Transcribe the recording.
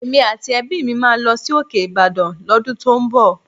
Èmi àti ẹbí mi máa lọ sí òkè Ìbàdàn l'ọ́dún tó ń bọ̀